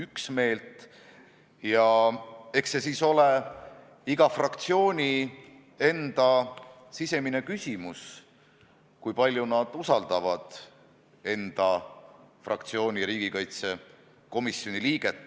Eks see ole siis iga fraktsiooni enda sisemine küsimus, kui palju nad usaldavad enda fraktsiooni liiget, kes on riigikaitsekomisjonis.